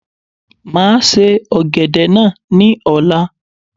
Máa se Ọ̀gẹ̀dẹ̀ náà ni ọ̀la.